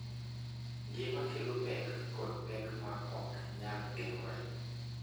Ngima kelo pek kod pek ma ok nyal geng’ore,